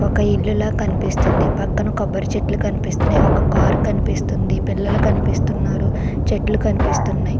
ఒక ఇల్లు కనిపిస్తుంది. పక్కన కొబ్బరి చెట్లు కనిపిస్తున్నాయి. ఒక కారు కనిపిస్తుంది. పిల్లల కనిపిస్తున్నారు. చెట్లు కనిపిస్తున్నాయి.